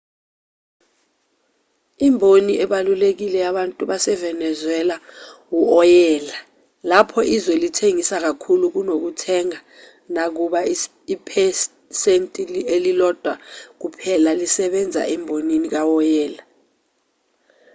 imboni ebalulekile yabantu basevenezuela u-oyela lapho izwe lithengisa kakhulu kunokuthenga nakuba iphesenti ililodwa kuphela lisebenza embonini kawoyela